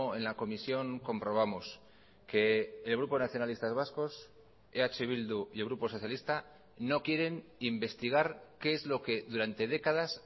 en la comisión comprobamos que el grupo nacionalistas vascos eh bildu y el grupo socialista no quieren investigar qué es lo que durante décadas